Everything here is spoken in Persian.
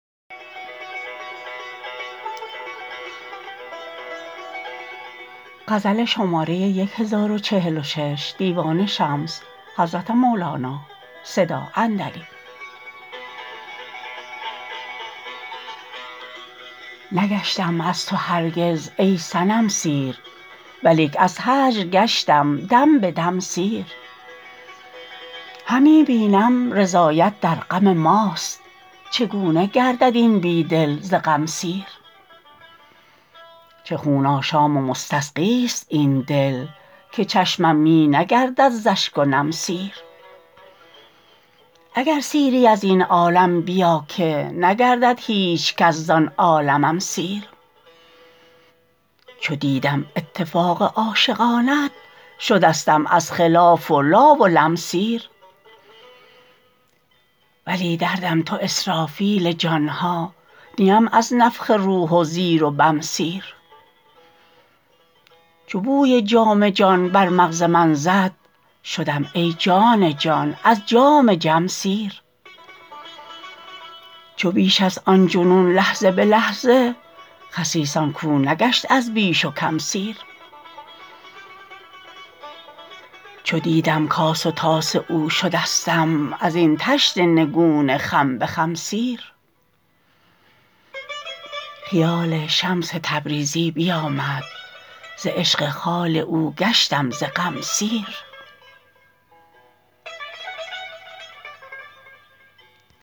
نگشتم از تو هرگز ای صنم سیر ولیک از هجر گشتم دم به دم سیر همی بینم رضایت در غم ماست چگونه گردد این بی دل ز غم سیر چه خون آشام و مستسقیست این دل که چشمم می نگردد ز اشک و نم سیر اگر سیری از این عالم بیا که نگردد هیچ کس زان عالمم سیر چو دیدم اتفاق عاشقانت شدستم از خلاف و لا و لم سیر ولی دردم تو اسرافیل جان ها نیم از نفخ روح و زیر و بم سیر چو بوی جام جان بر مغز من زد شدم ای جان جان از جام جم سیر چو بیشست آن جنون لحظه به لحظه خسیس آن کو نگشت از بیش و کم سیر چو دیدم کاس و طاس او شدستم از این طشت نگون خم به خم سیر خیال شمس تبریزی بیامد ز عشق خال او گشتم ز غم سیر